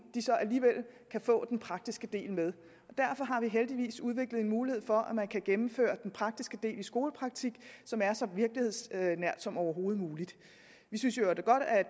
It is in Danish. så alligevel kan få den praktiske del med derfor har vi heldigvis udviklet en mulighed for at man kan gennemføre den praktiske del i skolepraktik som er så virkelighedsnær som overhovedet muligt vi synes i øvrigt godt at